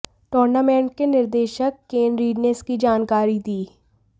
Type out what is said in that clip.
tournament के निदेशक Ken Reid ने इसकी जानकारी दी